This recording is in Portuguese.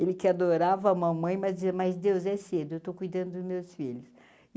Ele que adorava a mamãe, mas dizia, mas Deus é cedo, eu estou cuidando dos meus filhos.